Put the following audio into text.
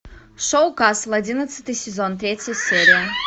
шоу касл одиннадцатый сезон третья серия